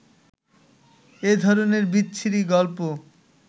এ ধরনের বিচ্ছিরি গল্প